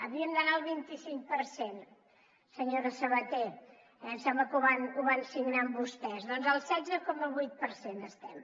havíem d’anar al vint i cinc per cent senyora sabater em sembla que ho van signar amb vostès doncs al setze coma vuit per cent estem